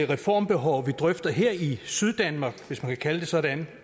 reformbehov vi drøfter her i syddanmark hvis man kan kalde det sådan